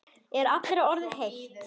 Er allri orðið heitt.